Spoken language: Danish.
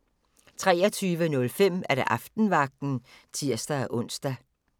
23:05: Aftenvagten (tir-ons)